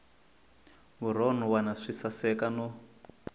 vurhon wana swi saseka no